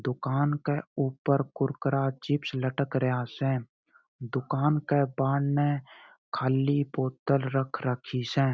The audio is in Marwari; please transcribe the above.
दुकान के ऊपर कुरकुरा चिप्स लटकारया से दुकान के पान में खाली बॉटल रख राखी स।